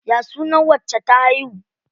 Ya suna wacce ta haihu?